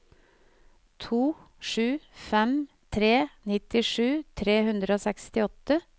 to sju fem tre nittisju tre hundre og sekstiåtte